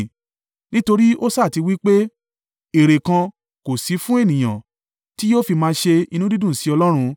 Nítorí ó sá ti wí pé, ‘Èrè kan kò sí fún ènìyàn, tí yóò fi máa ṣe inú dídùn sí Ọlọ́run.’